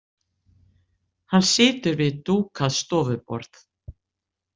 Hann situr við dúkað stofuborð.